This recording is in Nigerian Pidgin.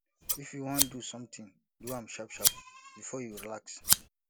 if you wan do something do am sharp sharp before you relax